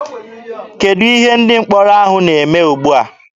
Kedụ ihe ndị mkpọrọ ahụ na-eme ugbua?